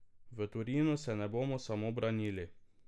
V Torinu se ne bomo samo branili.